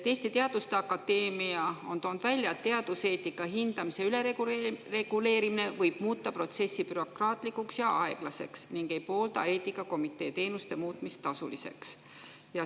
Eesti Teaduste Akadeemia on toonud välja, et teaduseetika hindamise ülereguleerimine võib muuta protsessi bürokraatlikuks ja aeglaseks, ning ei poolda eetikakomitee teenuste muutmist tasuliseks.